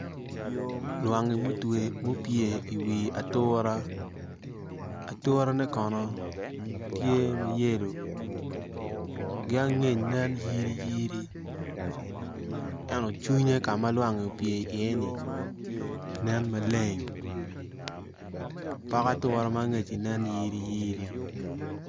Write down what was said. Lwangi mupye i wi atura aturene kono tye ma yelo ki angec nen yiriyiri ento cwinye ka ma lwangi opye i yeni nen maleng pok ature ma angecci nen yiriyiri.